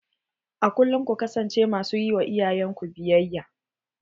A kulkum ku kasance ma su ƴi wa iyayen ku biyayya.